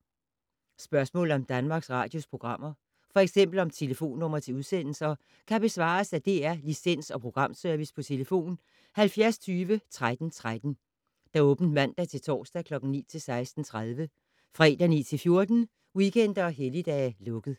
Spørgsmål om Danmarks Radios programmer, f.eks. om telefonnumre til udsendelser, kan besvares af DR Licens- og Programservice: tlf. 70 20 13 13, åbent mandag-torsdag 9.00-16.30, fredag 9.00-14.00, weekender og helligdage: lukket.